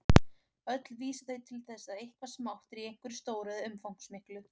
Öll vísa þau til þess að eitthvað smátt er í einhverju stóru eða umfangsmiklu.